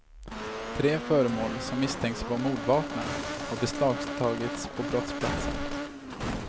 Tre föremål som misstänks vara mordvapnen har beslagtagits på brottsplatsen.